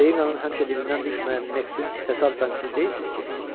Seynin həmişə dilindən düşməyən Meksin təsadüfən siz deyilsiz ki?